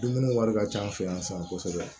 Dumuni wari ka ca an fɛ yan sisan kosɛbɛ